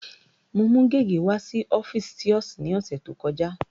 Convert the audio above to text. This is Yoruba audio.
Mo mú gègé wá sí ọ́fíìsì thios ní ọ̀sẹ̀ tó kọjá.